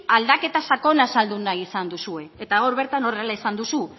aldaketa sakona saldu nahi izan duzue eta hor bertan horrela esan duzu